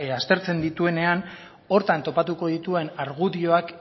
aztertzen dituenean horretan topatuko dituen argudioak